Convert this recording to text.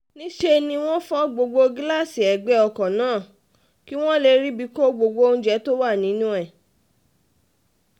níṣẹ́ ni wọ́n fọ gbogbo gíláàsì ẹgbẹ́ ọkọ̀ náà kí wọ́n lè ríbi kó gbogbo oúnjẹ tó wà nínú ẹ̀